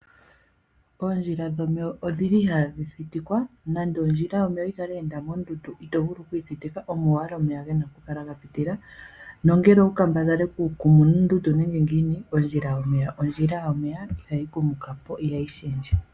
Ondjila dhono odhili ihaadhi thitikwa nande ondjila yomeya oyikale ya enda mondundu itovulu okuyithika omo owala omeya gena okukala gapitila nongele owukale wala okukambadhala okukuma moondundu nenge ngiini ondjila yomeya ihayi kumukapo nenge yishendje.